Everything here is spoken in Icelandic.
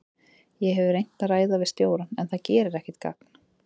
Ég hef reynt að ræða við stjórann en það gerir ekkert gagn.